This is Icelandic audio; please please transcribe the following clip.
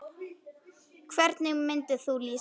Hvernig myndir þú lýsa því?